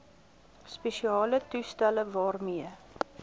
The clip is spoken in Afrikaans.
spesiale toestelle waarmee